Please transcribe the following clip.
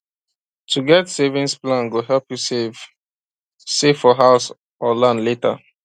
to get savings plan go help you save save for house or land later